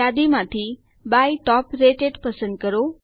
યાદીમાંથી by top rated પસંદ કરો